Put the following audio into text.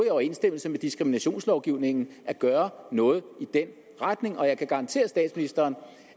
i overensstemmelse med diskriminationslovgivningen at gøre noget den retning jeg kan garantere statsministeren